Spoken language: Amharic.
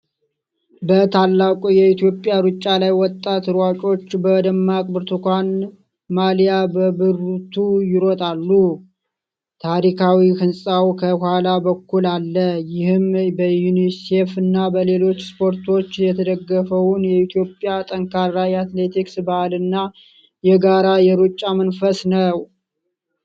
በታላቁ የኢትዮጵያ ሩጫ ላይ ወጣት ሯጮች በደማቅ ብርቱካን ማሊያ በብርቱ ይሮጣሉ። ታሪካዊ ሕንፃው ከኋላ በኩል አለ። ይህም በዩኒሴፍና በሌሎች ስፖንሰሮች የተደገፈውን የኢትዮጵያን ጠንካራ የአትሌቲክስ ባህልና የጋራ የሩጫ መንፈስ ነው።